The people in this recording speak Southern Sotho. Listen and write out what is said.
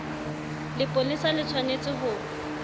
lepolesa le tsh wanetse ho